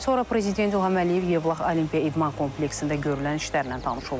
Sonra Prezident İlham Əliyev Yevlax Olimpiya İdman kompleksində görülən işlərlə tanış olub.